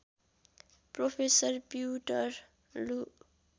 professor पिउँटर लू